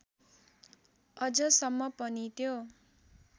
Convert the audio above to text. अझसम्म पनि त्यो